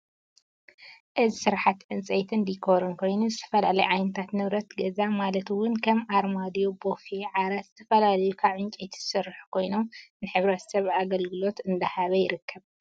እዚ ስራሕቲ ፅንፀይትን ዲኮርን ኮይኑ ዝተፈላለዩ ዓይነታት ንብረት ገዛ ማለት እውን ከም ኣርማድዮ፣ ቡፌ፣ ዓራት፣ ዝተፈላለዩ ካብ ዕንጨይቲ ዝስርሑ ኮይኖም ንሕ/ሰብ ኣገልግሎት እንዳሃበ ይርከብ፡፡